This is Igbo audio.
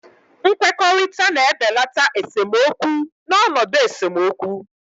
Nkwekọrịta na-ebelata esemokwu n'ọnọdụ esemokwu.